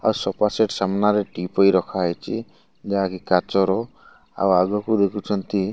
ଆଉ ସୋଫାସେଟ ସାମ୍ନାରେ teapoy ରଖାହେଇଚି ଯାହାକି କାଚର ଆଉ ଆଗକୁ ଦେଖୁଛନ୍ତି --